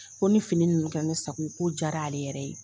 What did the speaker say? Ko ni fini ninnu kɛra ne sago ye, ko jara, ale yɛrɛ ye.